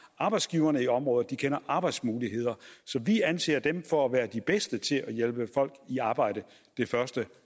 arbejdsgiverne i området de kender arbejdsmulighederne så vi anser dem for at være de bedste til at hjælpe folk i arbejde det første